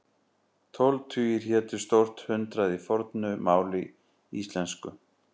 Tólf tugir hétu stórt hundrað í fornu máli íslensku.